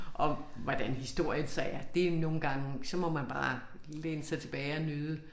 Og hvordan historien så er det nogle gange så må man bare læne sig tilbage og nyde